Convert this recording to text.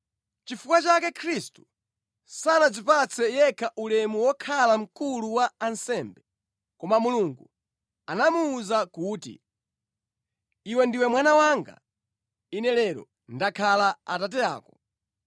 Nʼchifukwa chake Khristu sanadzipatse yekha ulemu wokhala Mkulu wa ansembe. Koma Mulungu anamuwuza kuti, “Iwe ndiwe Mwana wanga; Ine lero ndakhala Atate ako.”